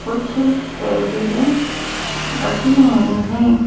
कुछ टेबले रखी हुई हैं।